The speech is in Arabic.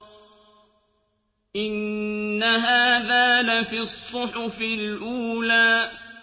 إِنَّ هَٰذَا لَفِي الصُّحُفِ الْأُولَىٰ